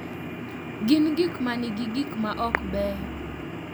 Gin gik ma nigi gik ma ok beyo .